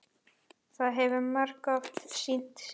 Það hefur margoft sýnt sig.